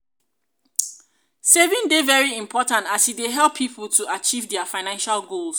saving dey very important as e dey help people to um achieve their financial goals.